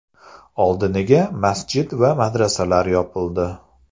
Oldiniga masjid va madrasalar yopildi.